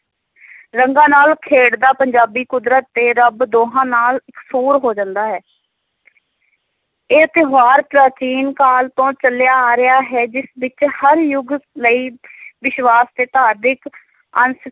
ਰੰਗਾਂ ਨਾਲ ਖੇਡਦਾ ਪੰਜਾਬੀ ਕੁਦਰਤ ਤੇ ਰੱਬ ਦੋਹਾਂ ਨਾਲ ਇਕਸੁਰ ਹੋ ਜਾਂਦਾ ਹੈ ਇਹ ਤਿਉਹਾਰ ਪ੍ਰਾਚੀਨ ਕਾਲ ਤੋ ਚਲਿਆ ਆ ਰਿਹਾ ਹੈ, ਜਿਸ ਵਿੱਚ ਹਰ ਯੁਗ ਲਈ ਵਿਸ਼ਵਾਸ ਤੇ ਧਾਰਮਿਕ ਅੰਸ